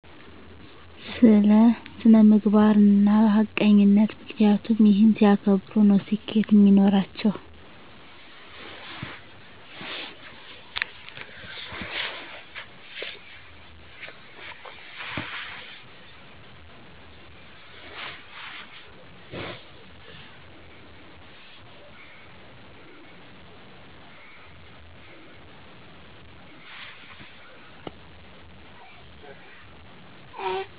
ስለ ስነምግባርና ሀቀኝነት ምክንያቱም እሂን ሲያከብሩ ነው ስኬት ሚኖራቸው